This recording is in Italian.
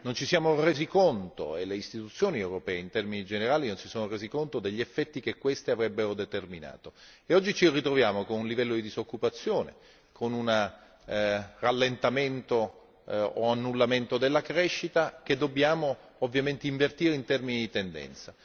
Non ci siamo resi conto e le istituzioni europee, in termini generali, non si sono rese conto degli effetti che questi avrebbero determinato e oggi ci ritroviamo con un livello di disoccupazione, con un rallentamento o annullamento della crescita che dobbiamo ovviamente invertire in termini di tendenza.